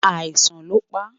àìsàn ló pa